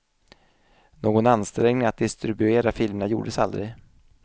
Någon ansträngning att distribuera filmerna gjordes aldrig.